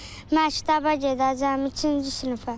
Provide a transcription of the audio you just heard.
Məktəbə gedəcəm ikinci sinifə.